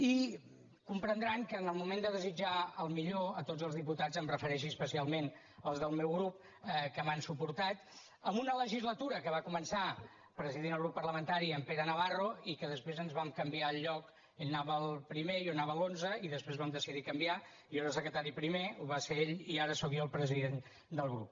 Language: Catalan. i comprendran que en el moment de desitjar el millor a tots els diputats em refereixi especialment als del meu grup que m’han suportat en una legislatura que va començar presidint el grup parlamentari en pere navarro i que després ens vam canviar el lloc ell anava el primer i jo anava a l’onze i després vam decidir canviar jo era el secretari primer ho va ser ell i ara sóc jo el president del grup